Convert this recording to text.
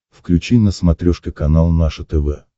включи на смотрешке канал наше тв